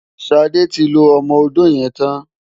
Ṣadé ti lo ọmọ-odó yẹn tán.